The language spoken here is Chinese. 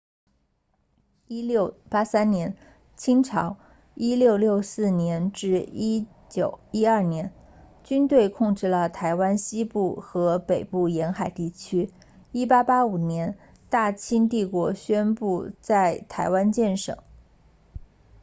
1683年清朝1644年1912年军队控制了台湾西部和北部沿海地区1885年大清帝国宣布在台湾建省